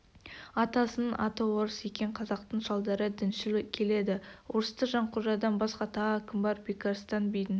атасының аты орыс екен қазақтың шалдары діншіл келеді орыста жанқожадан басқа тағы кім бар бекарыстан бидің